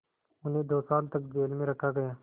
उन्हें दो साल तक जेल में रखा गया